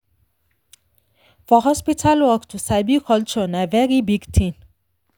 for hospital work to sabi culture na very big thing.